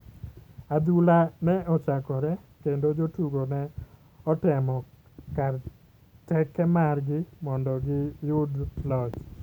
Adhula ne ochakore kendo jotugo ne otemo kar teke mar gi mondo gi yudo loch